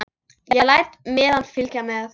Ég læt miðann fylgja með.